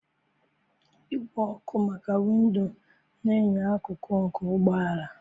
Igwe ọkụ maka windo na enyo akụkụ, nke ụgbọ ala.